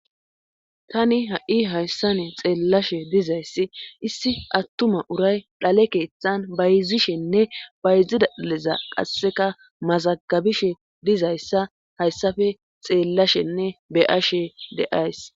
tani ha7i hayssani xeellashe dizayssi issi attuma uray dhale keeththan bayzishenne bayzida dhaleza qasseka mazagabishe dizayssa hayssafe xeellashenne be7ashe de7ays